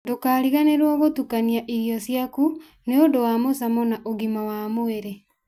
Ndũkariganĩrwo gũtukania irio ciaku nĩ ũndũ wa mũcamo na ũgima wa mwĩrĩ.